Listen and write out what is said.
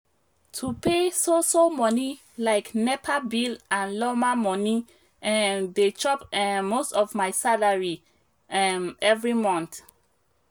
to pay so so money like nepa bill and lawma money um dey chop um most of my salary um every month